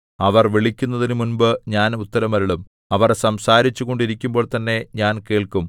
അവർ വിളിക്കുന്നതിനുമുമ്പ് ഞാൻ ഉത്തരം അരുളും അവർ സംസാരിച്ചുകൊണ്ടിരിക്കുമ്പോൾതന്നെ ഞാൻ കേൾക്കും